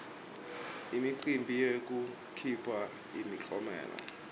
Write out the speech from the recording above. imicimbi yekuphiwa imiklomelo